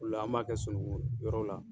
Ola an b'a kɛ sununŋu yɔrɔ la.